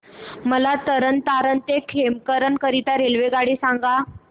मला तरण तारण ते खेमकरन करीता रेल्वेगाड्या सांगा